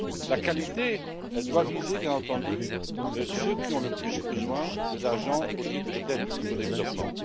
La qualité doit viser, bien entendu, ceux qui ont le plus besoin d'argent au titre de l'aide publique au développement.